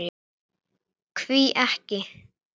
Hví ekki.